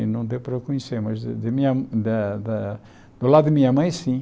E não deu para eu conhecer, mas de minha da da do lado de minha mãe, sim.